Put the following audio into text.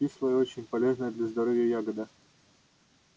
кислая и очень полезная для здоровья ягода